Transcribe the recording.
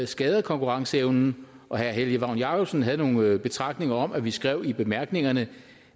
skader konkurrenceevnen og herre helge vagn jacobsen havde nogle betragtninger om at vi skrev i bemærkningerne